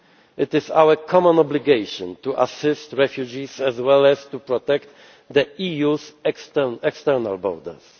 It is our common obligation to assist refugees as well as to protect the EU's external borders.